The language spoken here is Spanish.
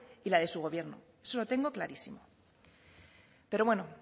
y la de su gobierno eso lo tengo clarísimo pero bueno